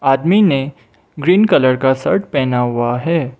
आदमी ने green colour का शर्ट पहना हुआ है।